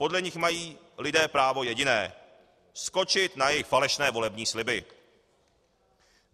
Podle nich mají lidé právo jediné: skočit na jejich falešné volební sliby.